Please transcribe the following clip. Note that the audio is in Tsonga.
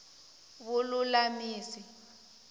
vululamisi